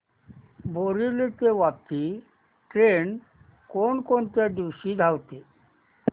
बोरिवली ते वापी ट्रेन कोण कोणत्या दिवशी धावते